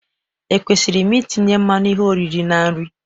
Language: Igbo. Ekwesịrị m itinye mmanụ ihe oriri na nri?